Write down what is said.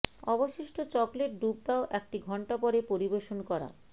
অবশিষ্ট চকলেট ডুব দাও একটি ঘন্টা পরে পরিবেশন করা